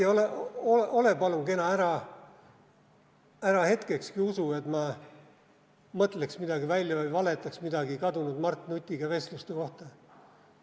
Hea Heiki, ole palun kena, ära hetkekski usu, et ma mõtleks midagi välja või valetaks midagi vestluste kohta kadunud Mart Nutiga.